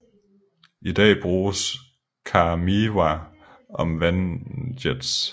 I dag bruges KaMeWa om vandjets